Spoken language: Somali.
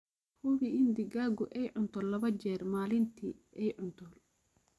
Hubi in digaagu ay cunto laba jeer maalintii aay cunto.